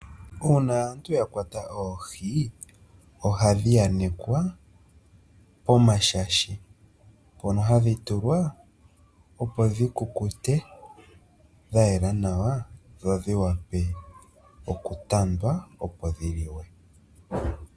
Uuna aantu ya kwata oohi ohadhi anekwa pomashashi mpono hadhi tulwa opo dhi kukute, dha yela nawa, dho dhi wape okutandwa opo dhi liwe.